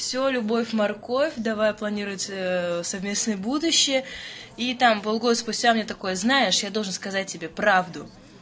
всё любовь морковь давай планируется совместное будущее и там пол года спустя мне такое знаешь я должен сказать тебе правду